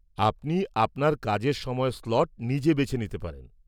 -আপনি আপনার কাজের সময়ের স্লট নিজে বেছে নিতে পারেন।